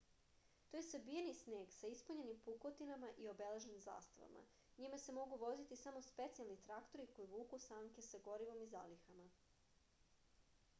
to je sabijeni sneg sa ispunjenim pukotinama i obeležen zastavama njime se mogu voziti samo specijalni traktori koji vuku sanke sa gorivom i zalihama